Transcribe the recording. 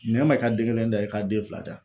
Na n ma i ka den kelen da i ka den fila da.